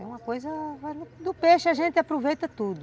É uma coisa... do peixe a gente aproveita tudo.